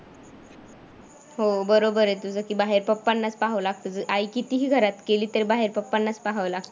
हो बरोबर आहे तुझं की बाहेर पप्पांनाच पहावं लागतं आई कितीही घरात केली तर बाहेर पप्पांनाच पहावं लागतं.